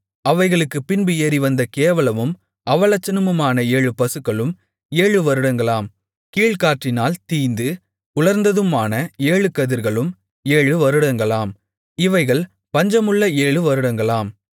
அவைகளுக்குப்பின்பு ஏறிவந்த கேவலமும் அவலட்சணமுமான ஏழு பசுக்களும் ஏழு வருடங்களாம் கீழ்காற்றினால் தீய்ந்து உலர்ந்ததுமான ஏழு கதிர்களும் ஏழு வருடங்களாம் இவைகள் பஞ்சமுள்ள ஏழு வருடங்களாம்